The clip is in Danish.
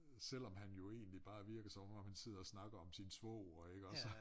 Selvom han jo egentlig bare virker som om om han sidder og snakker om sin svoger iggås